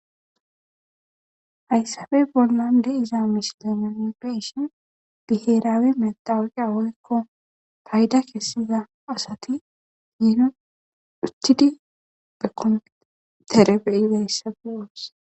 Hayssape bollan de'izza missile nuni be'ishin biherawe methawoqiya woykko faydda kesiza assathi biiron uttidi be kompithere bei'za assatha beo'ss.